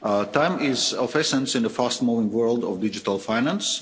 Time is of the essence in the fast moving world of digital finance.